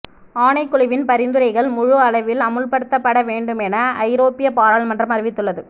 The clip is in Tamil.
ஆணைக்குழுவின் பரிந்துரைகள் முழு அளவில் அமுல்படுத்தப்பட வேண்டுமென ஐரோப்பிய பாராளுமன்றம் அறிவித்துள்ளது